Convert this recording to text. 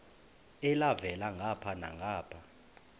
elhavela ngapha nangapha